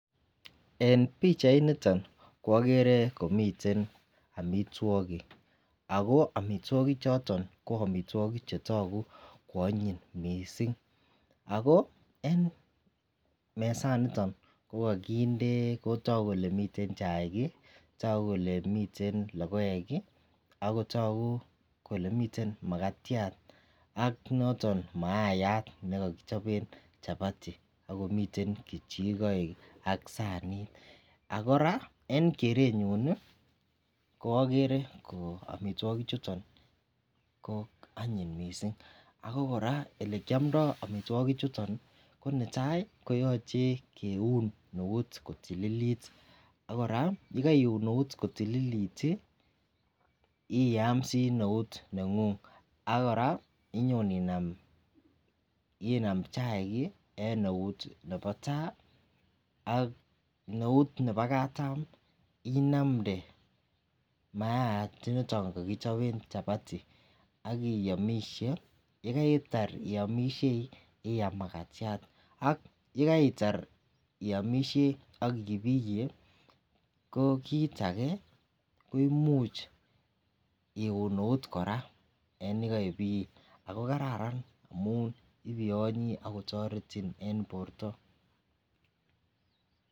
En pichainiton ko okere komiten Omitwokik ako omitwokik choton ko omitwokik chetoku ko onyiny missing ako en mesaniton ko kokinde ko toku kole miten chaik kii toku kole miten lokoek kii akotoku kole miten makatyat ak noton maiyat nekokichoben chapati akomiten kechikoik ak sanit. AK Koraa en kerenyun nii ko okere omitwokik chuton ko onyiny missing ako koraa olekiomdo omitwokik chuton ko netai koyoche kiun neut kotililit ak Koraa yekoiun eut kotililit tii iyamsi neut nengung ak Koraa inyon inam, inam chaik en eut nebo tai ak neut nebo katam inamde maayat ndoniton kokichoben chapati akiyomishe. Yekaitar iyomishei iyam makatyat ak yekaitar iyomishei ak ibiye ko kit age ko imuch iun eut Koraa yekoibiye ako kararan Koraa amun ibiyonyi akotoreti en borto.